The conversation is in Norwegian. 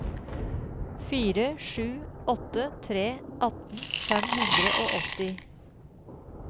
fire sju åtte tre atten fem hundre og åtti